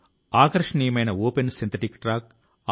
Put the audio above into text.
ప్రతిసారి వలెనే ఇప్పుడు కూడా ఒక నెల తరువాత కలుద్దాం